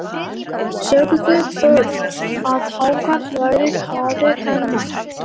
Sögðu börn, að hákarl væri faðir hennar.